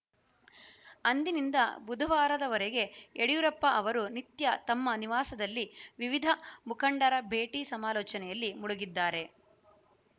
ಅಂದಿನಿಂದ ಬುಧವಾರದವರೆಗೆ ಯಡಿಯೂರಪ್ಪ ಅವರು ನಿತ್ಯ ತಮ್ಮ ನಿವಾಸದಲ್ಲಿ ವಿವಿಧ ಮುಖಂಡರ ಭೇಟಿ ಸಮಾಲೋಚನೆಯಲ್ಲಿ ಮುಳುಗಿದ್ದಾರೆ